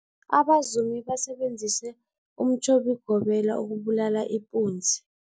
Abazumi basebenzise umtjhobigobela ukubulala ipunzi.